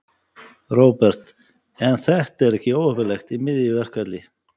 Róbert: En er þetta ekki óheppilegt í miðju verkfalli?